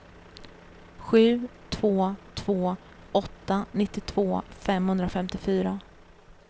sju två två åtta nittiotvå femhundrafemtiofyra